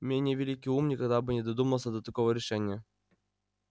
менее великий ум никогда бы не додумался до такого решения